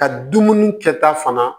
Ka dumuni kɛta fana